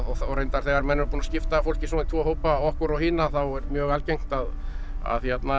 reyndar þegar menn eru búnir að skipta fólki svona í tvo hópa okkur og hina þá er mjög algengt að að